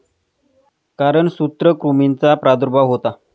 कारण सूत्रकृमींचा प्रादुर्भाव होतो.